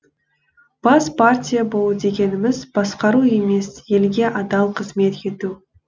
бас партия болу дегеніміз басқару емес елге адал қызмет ету